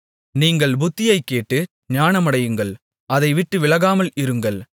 நீங்கள் புத்தியைக் கேட்டு ஞானமடையுங்கள் அதைவிட்டு விலகாமல் இருங்கள்